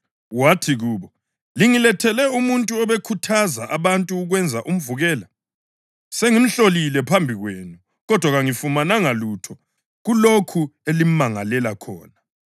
wathi kubo, “Lingilethele umuntu obekhuthaza abantu ukwenza umvukela. Sengimhlolile phambi kwenu, kodwa kangifumananga lutho kulokhu elimangalela khona.